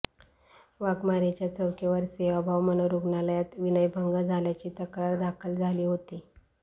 वाघमारेच्या चौकीवर सेवाभाव मनोरुग्णालयात विनयभंग झाल्याची तक्रार दाखल झाली होती